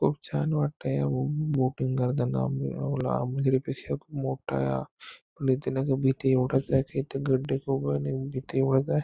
खूप छान वाटतंय बोटींग करताना पेक्षा खूप मोठा पण इथे भीती एवढीच आहे कि इथे गड्डे खूप --